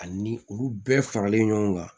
Ani olu bɛɛ faralen ɲɔgɔn kan